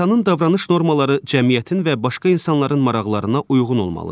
İnsanın davranış normaları cəmiyyətin və başqa insanların maraqlarına uyğun olmalıdır.